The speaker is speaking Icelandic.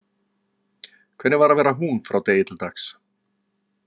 Hvernig var að vera hún frá degi til dags.